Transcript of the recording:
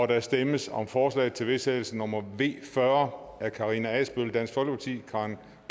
der stemmes om forslag til vedtagelse nummer v fyrre af karina adsbøl karen